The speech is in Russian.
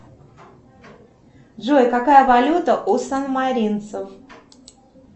джой какая валюта у сан маринцев